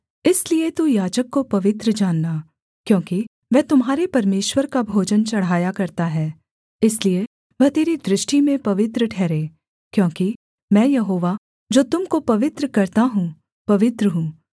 इसलिए तू याजक को पवित्र जानना क्योंकि वह तुम्हारे परमेश्वर का भोजन चढ़ाया करता है इसलिए वह तेरी दृष्टि में पवित्र ठहरे क्योंकि मैं यहोवा जो तुम को पवित्र करता हूँ पवित्र हूँ